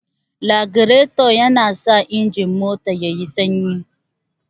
Lagirato yana sa injin mota yayi sanyi